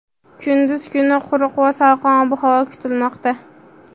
Kunduz kuni quruq va salqin ob-havo kutilmoqda.